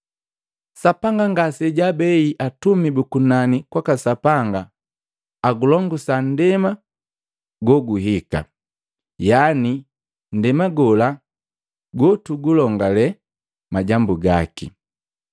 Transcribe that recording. Sapanga ngasejaabei atumi bu kunani kwaka Sapanga agulongusa nndema goguhika, yaani nndema gola gotugulongale majambu gaki.